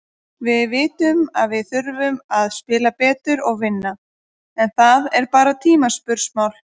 Við vitum að við þurfum að spila betur og vinna, en það er bara tímaspursmál.